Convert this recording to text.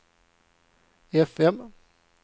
fm